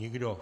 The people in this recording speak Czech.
Nikdo.